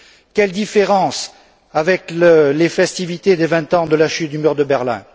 Quelle différence avec les festivités des vingt ans de la chute du mur de Berlin!